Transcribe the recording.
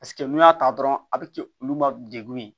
Paseke n'i y'a ta dɔrɔn a bi kɛ olu ma degun ye